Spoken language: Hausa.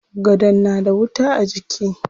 Gadon na da wuta a jiki.